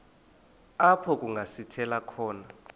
apho kungasithela khona